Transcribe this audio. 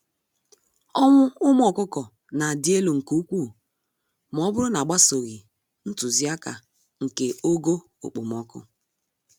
Ọnwụ ụmụ ọkụkọ nadị élú nke úkwú mọbụrụ na agbsoghi ntụziaka nke ogo okpomọkụ.